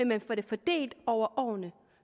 man får det fordelt over årene